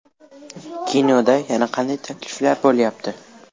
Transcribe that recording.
Kinoda yana qanday takliflar bo‘lyapti?